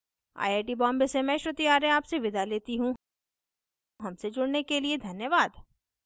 I I T Bombay से मैं श्रुति आर्य आपसे विदा लेती हूँ हमसे जुड़ने के लिए धन्यवाद